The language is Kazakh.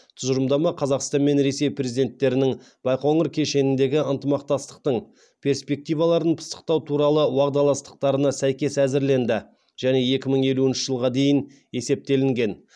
тұжырымдама қазақстан мен ресей президенттерінің байқоңыр кешеніндегі ынтымақтастықтың перспективаларын пысықтау туралы уағдаластықтарына сәйкес әзірленді және екі мың елуінші жылға дейін есептелінген